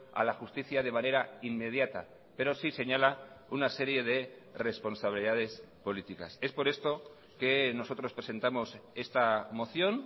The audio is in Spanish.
a la justicia de manera inmediata pero sí señala una serie de responsabilidades políticas es por esto que nosotros presentamos esta moción